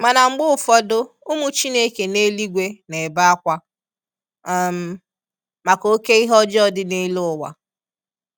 Mana mgbe ụfọdụ ụmụ Chineke n'eluigwe n'ebe akwa um maka oke ihe ọjọọ di n'elu ụwa.